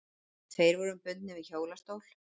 Tveir voru bundnir við hjólastól.